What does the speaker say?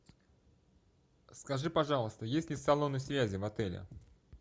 скажи пожалуйста есть ли салоны связи в отеле